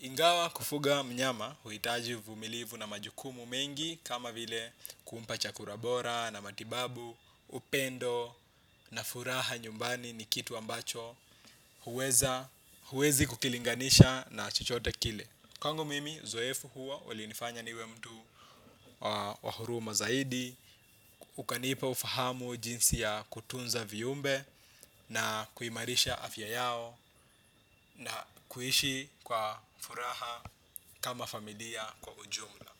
Ingawa kufuga mnyama huitaji uvumilivu na majukumu mengi kama vile kumpa chakula bora na matibabu, upendo na furaha nyumbani ni kitu ambacho huwezi kukilinganisha na chochote kile. Kwangu mimi, uzoefu huo, ulinifanya niwe mtu wa huruma zaidi, ukanipa ufahamu jinsi ya kutunza viumbe na kuimarisha afya yao na kuishi kwa furaha kama familia kwa ujumla.